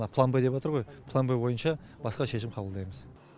план б деп отыр ғой план б бойынша басқа шешім қабылдаймыз